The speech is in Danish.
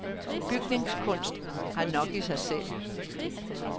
Bygningskunst har nok i sig selv.